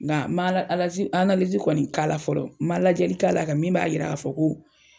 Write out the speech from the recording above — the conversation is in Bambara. Nka ma ala alazi aanalizi kɔni k'a la fɔlɔ, ma lajɛli k'a la ka min b'a yira ka fɔ ko